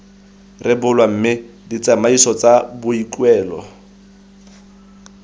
rebolwa mme ditsamaiso tsa boikuelo